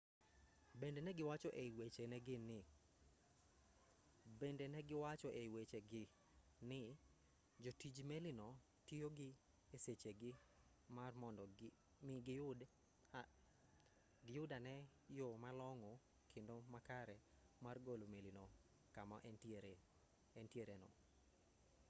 bende ne giwacho ei wechegi ni jotij melino tiyo gi e sechegi mar mondo mi giyudi ane yo malong'o kendo makare mar golo melino kama entiereno